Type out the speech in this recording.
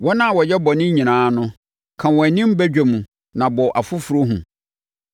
Wɔn a wɔyɛ bɔne nyinaa no, ka wɔn anim badwam na abɔ afoforɔ hu.